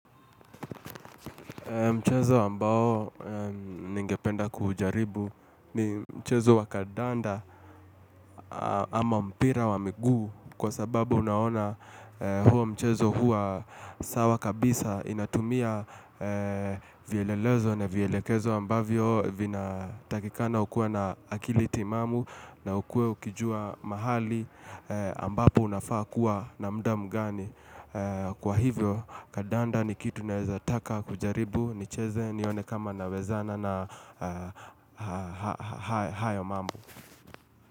Mchezo ambao ningependa kujaribu ni mchezo wa kadanda ama mpira wa miguu kwa sababu unaona huo mchezo hua sawa kabisa inatumia vyelelezo na vyelekezo ambavyo vina takikana ukuwe na akili timamu na ukuwe ukijua mahali ambapo unafaa kuwa na muda mgani. Kwa hivyo kadanda ni kitu naweza taka kujaribu nicheze nione kama nawezana na hayo mambo.